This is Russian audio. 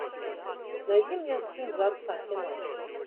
найди мне сын за отца кино